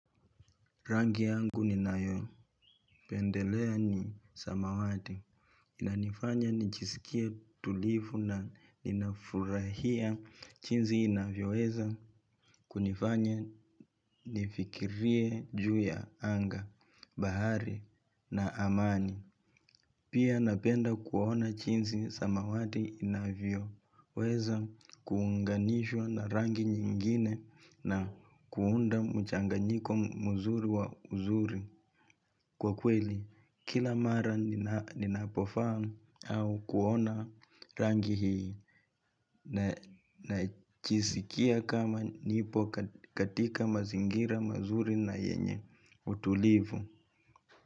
Rangi yangu ninayopendelea ni samawati, inanifanya nijisikie tulivu na ninafurahia jinsi inavyoweza kunifanya nifikirie juu ya anga, bahari na amani. Pia napenda kuona jinsi samawati inavyo. Weza kuunganishwa na rangi nyingine na kuunda mchanganyiko mzuri wa uzuri kwa kweli. Kila mara ninapovaa au kuona rangi hii najisikia kama nipo katika mazingira mazuri na yenye utulivu.